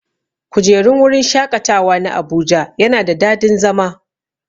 kujerun wurin shaƙatawa na abuja yana da dadin zama.